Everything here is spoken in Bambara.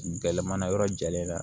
Gɛlɛmana yɔrɔ jalen na